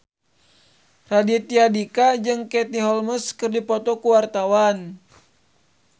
Raditya Dika jeung Katie Holmes keur dipoto ku wartawan